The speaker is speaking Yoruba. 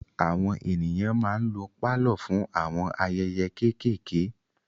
Àwọn ènìyàn ma ń lo pálọ̀ fún àwọn ayẹyẹ kéékéèké.